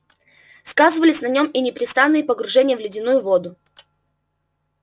сказывались на нём и непрестанные погружения в ледяную воду